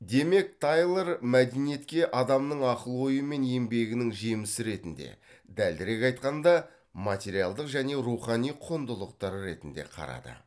демек тайлор мәдениетке адамның ақыл ойы мен еңбегінің жемісі ретінде дәлірек айтқанда материалдық және рухани құндылықтар ретінде қарады